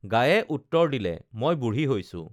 গাইয়ে উত্তৰ দিলে মই বুঢ়ী হৈছোঁ